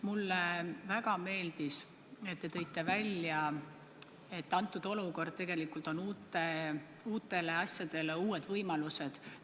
Mulle väga meeldis, et te tõite välja, et praegune olukord annab tegelikult uutele asjadele uued võimalused.